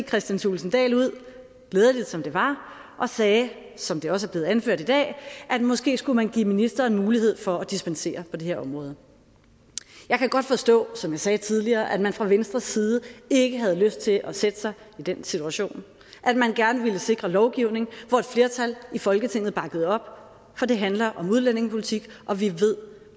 kristian thulesen dahl ud glædeligt som der var og sagde som det også er blevet anført i dag at måske skulle man give ministeren mulighed for at dispensere på det her område jeg kan godt forstå som jeg sagde tidligere at man fra venstres side ikke havde lyst til at sætte sig i den situation at man gerne ville sikre lovgivning hvor et flertal i folketinget bakkede op for det handler om udlændingepolitik og vi ved